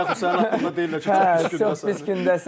Və yaxud sənin haqqında deyirlər ki, çox pis gündəsən.